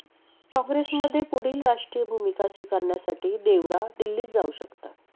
काँग्रेसमध्ये पुढील राष्ट्रीय भूमिका स्वीकारण्यासाठी देवरा दिल्लीत जाऊ शकतात